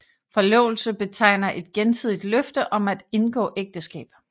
Forlovelse betegner et gensidigt løfte om at indgå ægteskab